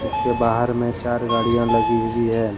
इसके बाहर मे चार गाड़िया लगी हुई है।